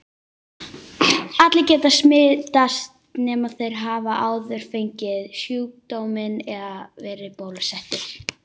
Allir geta smitast nema þeir hafi áður fengið sjúkdóminn eða verið bólusettir.